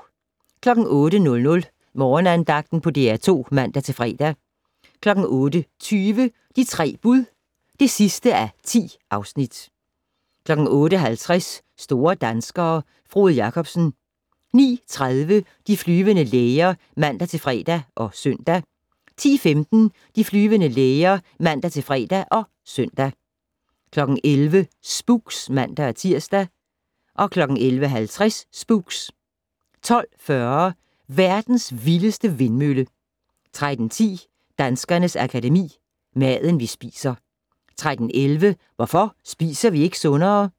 08:00: Morgenandagten på DR2 (man-fre) 08:20: De 3 bud (10:10) 08:50: Store danskere - Frode Jakobsen 09:30: De flyvende læger (man-fre og søn) 10:15: De flyvende læger (man-fre og søn) 11:00: Spooks (man-tir) 11:50: Spooks 12:40: Verdens vildeste vindmølle 13:10: Danskernes Akademi: Maden, vi spiser 13:11: Hvorfor spiser vi ikke sundere?